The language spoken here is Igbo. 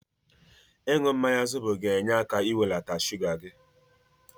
Ịnụ mmanya zobo ga-enye aka n'iwelata shuga gị.